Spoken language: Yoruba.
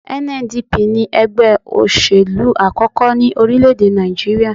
NNDP ní ẹgbẹ́ òṣèlú àkọ́kọ́ ní orílẹ̀-èdè Nàìjíríyà